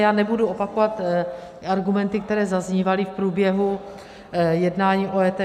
Já nebudu opakovat argumenty, které zaznívaly v průběhu jednání o EET.